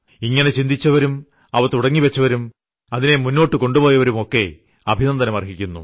ഇങ്ങനെ ചിന്തിച്ചവരും അവ തുടങ്ങിവച്ചവരും അതിനെ മുന്നോട്ടു കൊണ്ടുപോയവരും ഒക്കെ അഭിനന്ദനം അർഹിക്കുന്നു